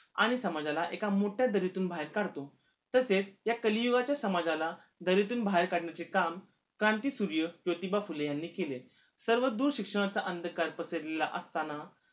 आणि समाजाला एका मोठ्या दरीतून बाहेर काढतो तसेच या कलियुगाच्या समाजाला दरीतून बाहेर काढण्याचे काम क्रांतिसूर्य ज्योतिबा फुले यांनी केले सर्व दूर शिक्षणाचा अंधकार पसरलेला असताना